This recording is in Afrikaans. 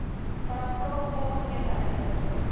paragraaf algemene inligting